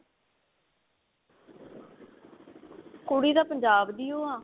ਕੁੜੀ ਤਾਂ ਪੰਜਾਬ ਦੀ ਓ ਆ